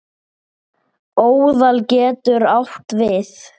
Óðal getur átt við